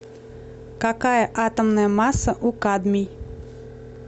какая атомная масса у кадмий